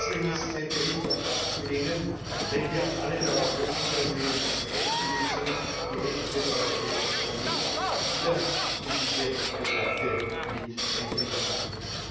Deswegen ist sein Bericht auch abzulehnen, weil wir alle darauf hoffen, dass wir in einer zweiten Lesung die Rechte des Europäischen Parlaments wieder in diese Debatte mit einbringen können!